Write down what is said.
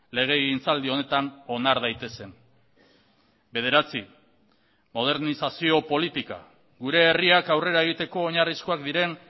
legegintzaldi honetan onar daitezen bederatzi modernizazio politika gure herriak aurrera egiteko oinarrizkoak diren